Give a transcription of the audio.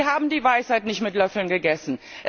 Aber Sie haben die Weisheit nicht mit Löffeln gegessen.